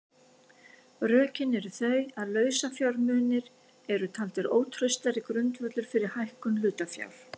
Rökin eru þau að lausafjármunir eru taldir ótraustari grundvöllur undir hækkun hlutafjár.